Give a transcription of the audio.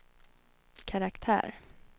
karaktär